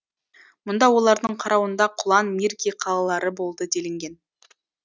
мұнда олардың қарауында құлан мирки қалалары болды делінген